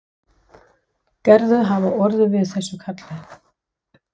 Gerður hafi orðið við þessu kalli.